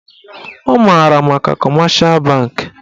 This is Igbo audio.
Ọ maara maka kọmeshal bankị